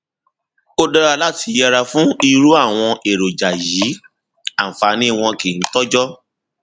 ó dára láti yẹra fún irú àwọn èròjà yìí àǹfààní wọn kìí tọjọ